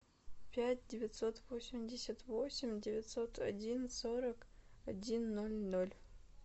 пять девятьсот восемьдесят восемь девятьсот один сорок один ноль ноль